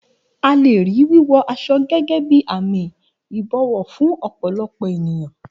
A lè rí wíwọ aṣọ gẹ́gẹ́ bí àmì ìbọ̀wọ̀ fún ọ̀pọ̀lọpọ̀ ènìyàn.